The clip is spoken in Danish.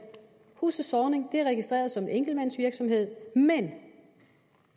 huset zornig er registreret som en enkeltmandsvirksomhed men